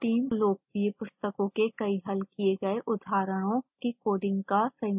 fossee team लोकप्रिय पुस्तकों के कई हल किए गए उदाहरणों की कोडिंग का संयोजन करती है